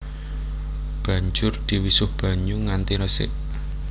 Banjur diwisuh banyu nganti resik